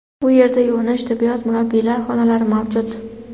Bu yerda yuvinish, tibbiyot, murabbiylar xonalari mavjud.